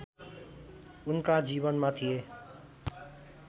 उनका जीवनमा थिए